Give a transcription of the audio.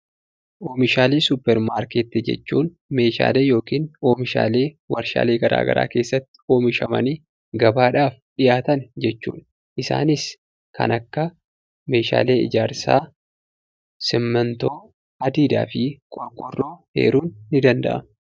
Oomishalee supper maarkettii jechuun meeshaalee yookiin oomishaalee warshaalee garagaraa keessatti oomishamanii gabaadhaaf dhiyaatan jechuudha. Isaanis kan akka meeshaalee ijaarsaa simmintoo adiidhaafi qorqoorroo eeruun ni danda'ama .